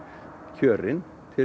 kjörin til